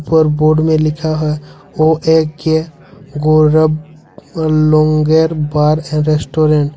उपर बोर्ड में लिखा है ओ_ए_के गौरव लोंगे बार अर रेस्टोरेंट ।